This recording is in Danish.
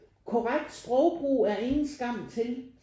Korrekt sprogbrug er ingen skam til